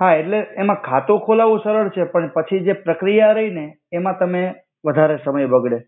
હા એટ્લે એમા ખાતુ ખોલાવુ તો સરડ છે પણ પછી જે પ્રક્રિયા રઇ ને એમા તમે વધારે સમય બગડે